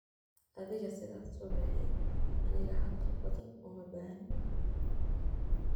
Adhiga sidhas suubix ,aniga hadhal badhaan umabaxnii.